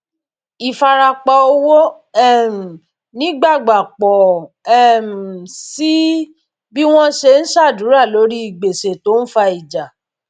ìfarapa owó um nígbàgbà pọ um síi bí wọn ṣe ń ṣàdúrà lórí gbèsè tó ń fa ìjà